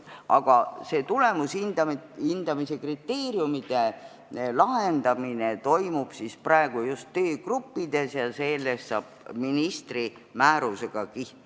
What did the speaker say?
Aga see tulemushindamise kriteeriumide lahendamine toimub praegu just töögruppides ja see kehtestatakse ministri määrusega.